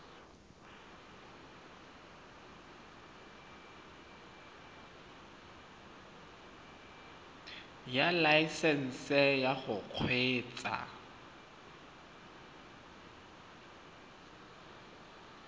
ya laesesnse ya go kgweetsa